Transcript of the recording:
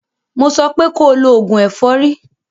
Mo sọ pé ko lo oògùn ẹ̀fọ́rí!